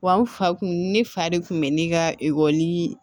Wa n fa kun ne fa de kun bɛ ne ka ekɔli